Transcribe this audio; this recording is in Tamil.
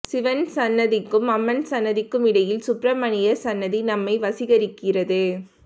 சிவன் சந்நதிக்கும் அம்மன் சந்நதிக்கும் இடையில் சுப்பிரமணியர் சந்நதி நம்மை வசீகரிக்கிறது